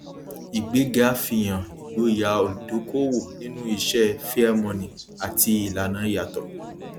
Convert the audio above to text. ìgbéga fihàn ìgbóyà olùdókòwò nínú iṣẹ fairmoney àti ìlànà yàtọ